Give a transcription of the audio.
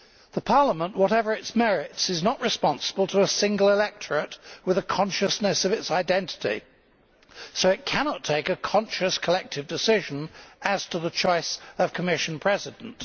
The Parliament, whatever its merits, is not responsible to a single electorate with a consciousness of its identity so it cannot take a conscious collective decision as to the choice of Commission President.